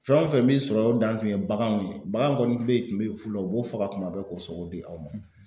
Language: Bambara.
Fɛn o fɛn b'i sɔrɔ o dan tun ye baganw ye, bagan kɔni bɛ kun bɛ fɔlɔ u b'o faga kuma bɛɛ k'o sogo di aw ma.